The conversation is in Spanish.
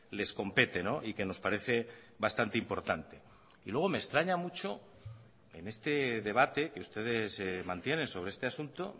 les compete y que nos parece bastante importante y luego me extraña mucho en este debate que ustedes mantienen sobre este asunto